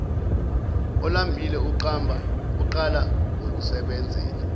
olambile uqala ngokusebenzela